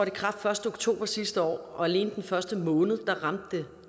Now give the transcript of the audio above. i kraft første oktober sidste år og alene den første måned ramte